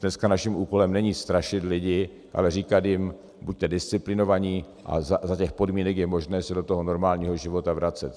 Dneska naším úkolem není strašit lidi, ale říkat jim: buďte disciplinovaní a za těch podmínek je možné se do toho normálního života vracet.